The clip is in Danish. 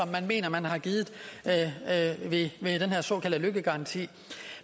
man mener man har givet med den her såkaldte løkkegaranti